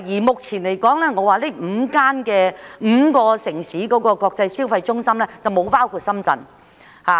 目前來說，上述5個國際消費中心城市並未包括深圳。